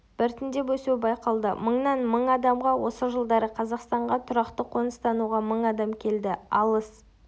біртіндеп өсуі байқалды мыңнан мың адамға осы жылдары қазақстанға тұрақты қоныстануға мың адам келді алыс